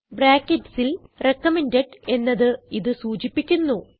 bracketsൽ recommended എന്നത് ഇത് സൂചിപ്പിക്കുന്നു